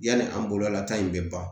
Yani an bolola ta in bɛ ban